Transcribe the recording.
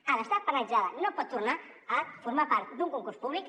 ha d’estar penalitzada no pot tornar a formar part d’un concurs públic